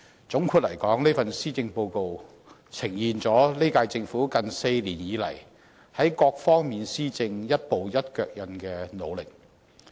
總括而言，這份施政報告呈現了現屆政府近4年以來，在各方面施政一步一腳印的努力。